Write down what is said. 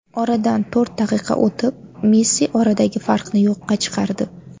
Oradan to‘rt daqiqa o‘tib Messi oradagi farqni yo‘qqa chiqardi.